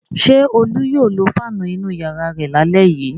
Ṣé Olú yóò lo fáánù inú ìyàrá rẹ̀ lálẹ́ yìí?